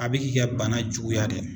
A bɛ k'i ka bana juguya de.